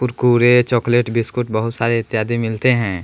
Kurkure chocolate biscuit बहुत सारे इत्यादि मिलते हैं।